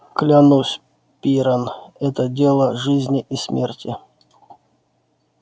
клянусь пиренн это дело жизни и смерти